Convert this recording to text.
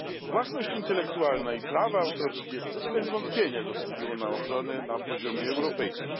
Własność intelektualna i prawa autorskie bez wątpienia zasługują na ochronę na poziomie europejskim.